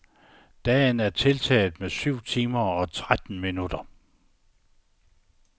Dagen er tiltaget med syv timer og tretten minutter.